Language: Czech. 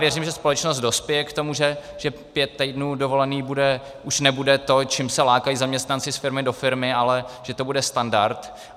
Věřím, že společnost dospěje k tomu, že pět týdnů dovolené už nebude to, čím se lákají zaměstnanci z firmy do firmy, ale že to bude standard.